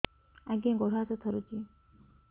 ଆଜ୍ଞା ଗୋଡ଼ ହାତ ଥରୁଛି